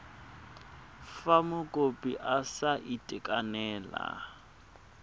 fa mokopi a sa itekanela